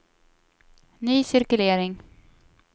ny cirkulering